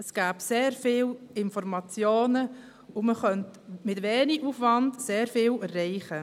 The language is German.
Es gäbe sehr viele Informationen und man könnte mit wenig Aufwand sehr viel erreichen.